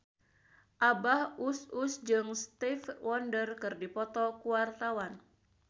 Abah Us Us jeung Stevie Wonder keur dipoto ku wartawan